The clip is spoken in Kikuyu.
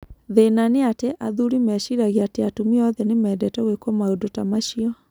Thĩna nĩ atĩ athuri meciragia atĩ atumia othe nĩ mendete gwĩkwo maũndũ ta macio".